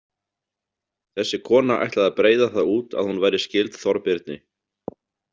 Þessi kona ætlaði að breiða það út að hún væri skyld Þorbirni.